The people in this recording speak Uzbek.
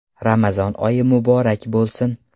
Ramazon oyi muborak bo‘lsin!